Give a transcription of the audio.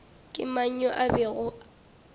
ke mang yo a bego